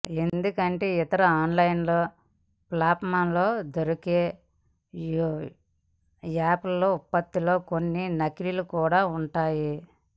ఎందుకంటే ఇతర ఆన్లైన్ ఫ్లాట్ఫామ్లలో దొరికే యాపిల్ ఉత్పత్తుల్లో కొన్ని నకిలీలు కూడా ఉంటున్నాయి